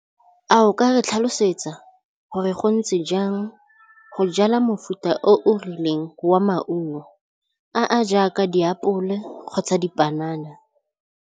A o ka re tlhalosetsa gore go ntse jang go jala mofuta o o rileng wa maungo a a jaaka diapole kgotsa dipanana.